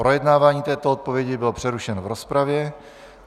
Projednávání této odpovědi bylo přerušeno v rozpravě.